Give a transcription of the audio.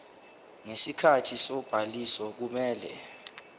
ngesikhathi sobhaliso kumele